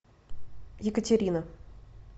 екатерина